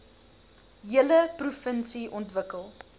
hele provinsie ontwikkel